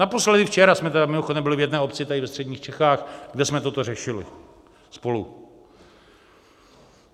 Naposledy včera jsme tedy mimochodem byli v jedné obci tady ve středních Čechách, kde jsme toto řešili spolu.